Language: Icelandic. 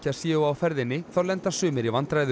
séu á ferðinni þá lenda sumir í vandræðum